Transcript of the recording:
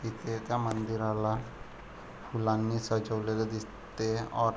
तिथे त्या मंदिराला फुलांनी सजवलेल दिसत और --